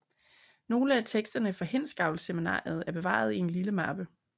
Nogle af teksterne fra Hindsgavlseminaret er bevaret i en lille mappe